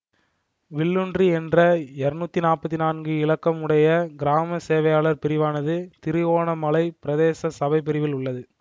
வில்லூன்றி என்ற இருநூற்றி நாற்பத்தி நான்கு இலக்கம் உடைய கிராமசேவையாளர் பிரிவானது திருகோணமலை பிரதேச சபை பிரிவில் உள்ளது